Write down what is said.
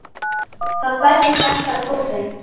Það bætist alltaf í hópinn.